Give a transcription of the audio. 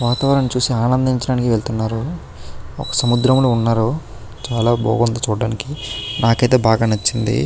వాతావరణం చూసి చాలా ఆనందించడానికి వెళ్తున్నారు ఒక సముద్రంలో ఉన్నారు చాలా బాగుంది చూడడానికి. నాకు అయితే బాగా నచ్చింది.